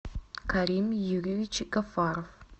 карим юрьевич гафаров